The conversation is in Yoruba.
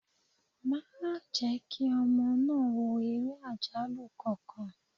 Má jẹ́ kí ọmọ náà wò ere àjálù kankan!